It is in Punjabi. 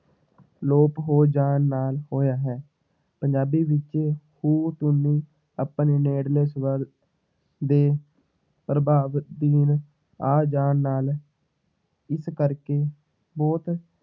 ਆਲੋਪ ਹੋ ਜਾਣ ਨਾਲ ਹੋਇਆ ਹੈ, ਪੰਜਾਬੀ ਵਿੱਚ ਉਹ ਧੁਨੀ ਆਪਣੇ ਨੇੜਲੇ ਸਵਰ ਦੇ ਪ੍ਰਭਾਵ ਅਧੀਨ ਆ ਜਾਣ ਨਾਲ ਇਸ ਕਰਕੇ ਬਹੁਤ